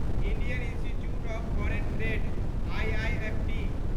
Indian institute of foreign trade IIFT